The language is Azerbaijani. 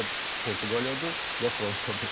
Ya Portuqaliyadır, ya Fransadır.